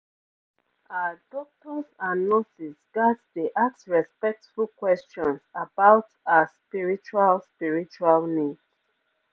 ah doctors and nurses ghats dey ask respectful questions about ah spiritual spiritual needs